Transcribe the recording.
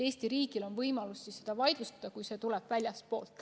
Eesti riigil on võimalus see vaidlustada, kui see tuleb väljastpoolt.